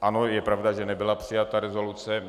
Ano, je pravda, že nebyla přijata rezoluce.